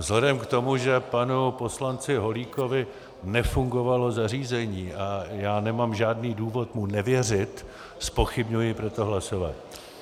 Vzhledem k tomu, že panu poslanci Holíkovi nefungovalo zařízení, a já nemám žádný důvod mu nevěřit, zpochybňuji proto hlasování.